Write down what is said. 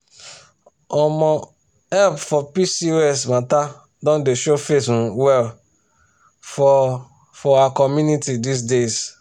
omo help for pcos matter don dey show face um well for for our community these days